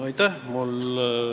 Aitäh!